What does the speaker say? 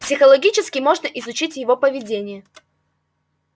психологически можно изучить его поведение